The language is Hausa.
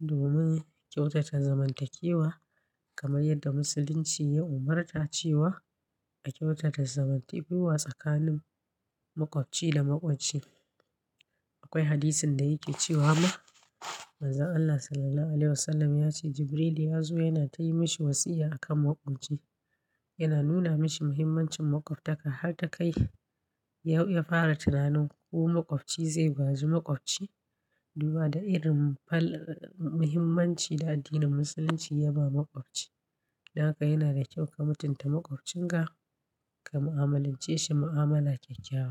domin kyautata zamantakewa kamar yadda Musulunci ya umarta cewa a kyautata zamantakewa tsakanin maƙwabci da maƙwabci. Akwai hadisin da yake cewa ma, Manzon Allah Sallallahu Alaihi Wasallam ya ce Jibrilu ya zo yana yi masa wasiya a kan maƙwabci. Yana nuna mashi muhimmancin maƙwabtaka har ta kai ya fara tunanin ko maƙwabci zai gaji maƙwabci. Duba da irin muhimmancin da addinin Musulunci ya ba maƙwabci. Don haka yana da kyau ka mutunta maƙwabcinka ka mu'amalance shi mu'amala kyakkyawa.